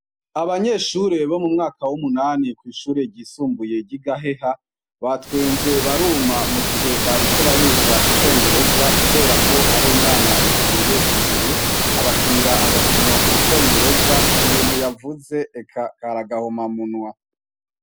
Abanyeshure bo mu mwaka w'umunani bo kw'ishure ryisumbuye ry'i Gaheha batwenze baruma mu gihe bariko bariga icongereza kubera ko hari umwana yagiye imbere abakinira agakinomu congereza ibintu yavuze eka kari akahomamunwa.